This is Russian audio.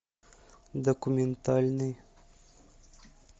документальный